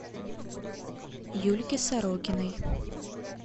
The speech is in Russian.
юльке сорокиной